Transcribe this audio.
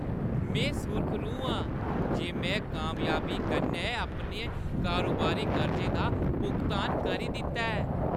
में सुरखरू आं जे में कामयाबी कन्नै अपने कारोबारी कर्जे दा भुगतान करी दित्ता ऐ।